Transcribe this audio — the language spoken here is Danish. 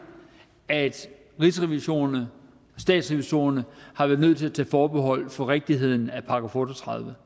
at rigsrevisorerne og statsrevisorerne har været nødt til at tage forbehold for rigtigheden af § otte og tredive